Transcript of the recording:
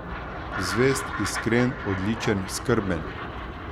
Zvest, iskren, odličen, skrben.